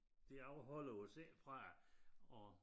Det afholder os ikke fra at